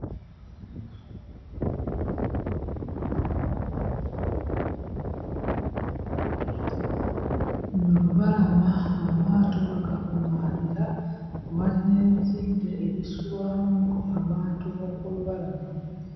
Luno lubalama amaato we gakuŋŋaanira; we wali n'ebizimbe ebisulwamu abantu b'oku lubalama.